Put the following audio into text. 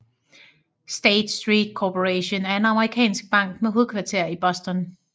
State Street Corporation er en amerikansk bank med hovedkvarter i Boston